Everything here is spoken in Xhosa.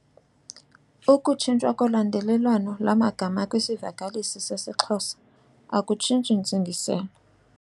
Ukutshintshwa kolandelelwano lwamagama kwisivakalisi seXhosa akutshintshi ntsingiselo.